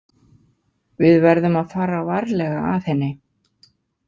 Við verðum að fara varlega að henni.